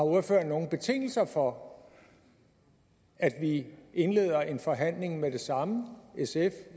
ordføreren nogle betingelser for at vi indleder en forhandling med det samme sf